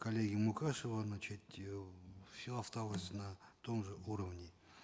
коллеги мукашева значит э все осталось на том же уровне